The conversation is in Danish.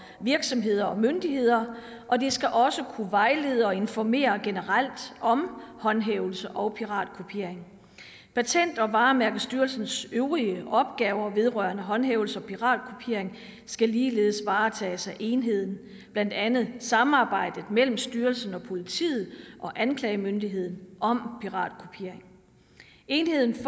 virksomheder og myndigheder og den skal også kunne vejlede og informere generelt om håndhævelse og piratkopiering patent og varemærkestyrelsens øvrige opgaver vedrørende håndhævelse og piratkopiering skal ligeledes varetages af enheden blandt andet samarbejdet mellem styrelsen politiet og anklagemyndigheden om piratkopiering enheden får